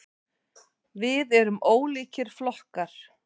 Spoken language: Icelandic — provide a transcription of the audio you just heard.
Við erum ólíkir flokkar.